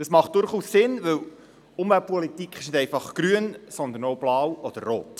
Das macht durchaus Sinn, denn Umweltpolitik ist nicht einfach grün, sondern auch blau oder rot.